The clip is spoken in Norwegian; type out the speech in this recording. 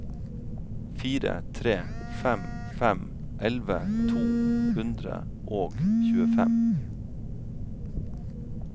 fire tre fem fem elleve to hundre og tjuefem